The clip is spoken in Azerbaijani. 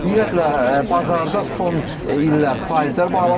Ümumiyyətlə bazarda son illər faizlər bahalaşıb.